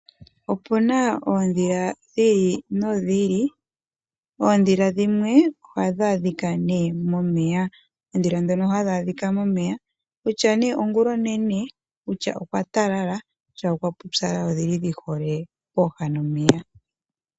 Opuna oodhila dhiili no dhiili, oodhila dhimwe ohadha dhika nee momeya oodhila dhono hadha dhika momeya kutya nee ongulonene, kutya okwa talala kutya okwa pupyala odhili dhi hole pooha nomeya.